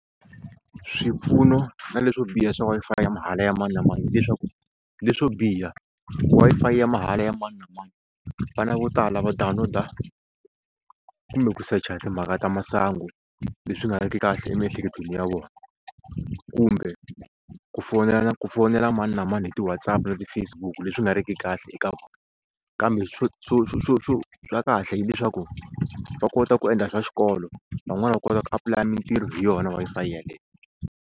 Swipfuno na leswo biha swa Wi-Fi ya mahala ya mani na mani hileswaku leswo biha Wi-Fi ya mahala ya mani na mani vana vo tala va download-a kumbe ku secha timhaka ta masangu leswi nga ri ki kahle emiehleketweni ya vona kumbe ku fonela ku fonela mani na mani hi ti-WhatsApp na ti-Facebook leswi nga ri ki kahle eka vona kambe swo xo xo swa kahle hileswaku va kota ku endla swa xikolo van'wani va kota ku apulaya mintirho hi yona Wi-Fi yeleyo.